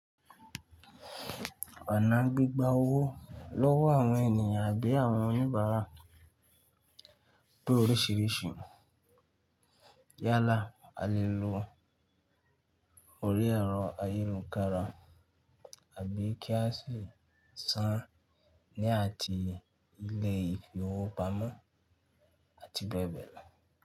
Ọ̀nà gbigba owó lọ́wọ́ àwọn ènìyàn àbí àwọn oníbàárà pé orísìírísìí. Yálà, a lè lo orí ẹ̀rọ ayélujára àbí kí a sì san ní ààtì ilé ìfowópamọ́ àti bẹ́ẹ̀ bẹ́ẹ̀ lọ.